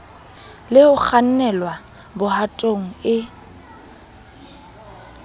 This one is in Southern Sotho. le ho kgannelwa bohatong e